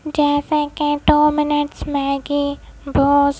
जैसे कि दो मिनट्स मेगी बॉस --